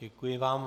Děkuji vám.